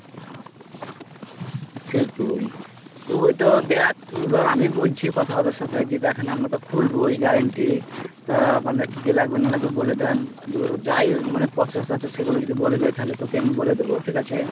সেটই তুই ওইটা দেখ এবার আমিই বলছি কথা ওদের সাথে যে দেকেন আমরা তো খুলবোই guarantee তা আপনাদের কি কি লাগবে না লাগবে বলে দেন যে যা processআছে সেই গুলো যদি বলে দেয় তাহলে তোকে আমি বলে দুব ঠিকাছে